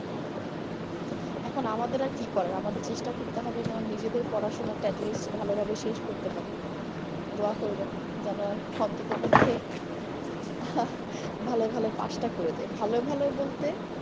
এখন আমাদের আর কি করার আমাদের চেষ্টা করতে হবে যে নিজেদের পড়াশুনাটা atleast ভালোভাবে শেষ করতে পারি। দোয়া করবেন যেন অন্তত পক্ষে ভালোয় ভালোয় pass টা করে যাই। ভালোয় ভালোয় বলতে।